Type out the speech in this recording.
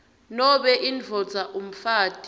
nobe indvodza umfati